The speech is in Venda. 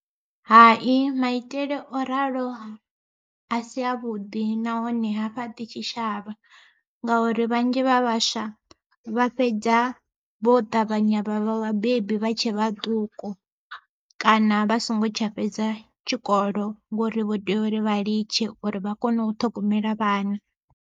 Hai maitele o ralo a si a vhuḓi nahone ha fhaṱi tshitshavha, ngauri vhanzhi vha vhaswa vha fhedza vho ṱavhanya vhavha vhabebi vha tshe vhaṱuku, kana vha songo tsha fhedza tshikolo ngori vho tea uri vha litshe uri vha kone u ṱhogomela vhana.